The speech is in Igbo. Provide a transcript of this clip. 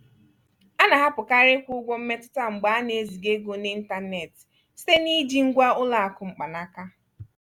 a na-ahapụkarị ịkwụ ụgwọ mmetụta mgbe ana-eziga ego n'ịntanetị site na iji ngwa ụlọ akụ mkpanaka.